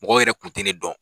Mɔgɔw yɛrɛ kun tɛ ni dɔn.